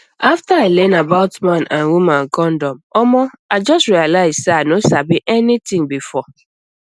after i learn about man and woman condom omo i just realize say i no sabi anything before